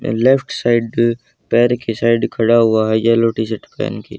and left side पैर के side खड़ा हुआ है येलो टी शर्ट पहेन के --